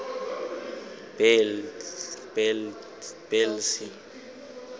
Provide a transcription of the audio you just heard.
bhelci